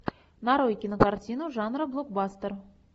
нарой кинокартину жанра блокбастер